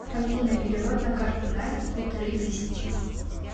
афина перевод на карту насте полторы тысячи